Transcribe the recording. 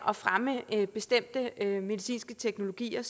at fremme bestemte medicinske teknologier